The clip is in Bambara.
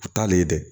U t'ale dɛ